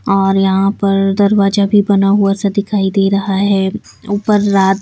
और यहां पर दरवाजा भी बना हुआ सा दिखाई दे रहा है ऊपर रात--